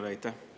Aitäh!